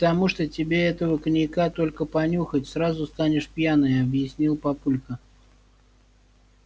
да потому что тебе этого коньяка только понюхать сразу станешь пьяная объяснил папулька